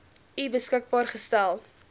u beskikbaar gestel